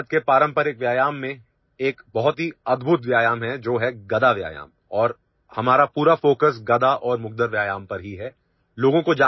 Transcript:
भारत के पारंपरिक व्यायाम मेंएक बहुत ही अद्भुत व्यायाम है जो है गदा व्यायाम और हमारापूरा ଫୋକସ୍ गदा और मुग्दर व्यायाम पर ही है